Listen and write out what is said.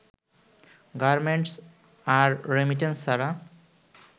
garments আর remittance ছাড়া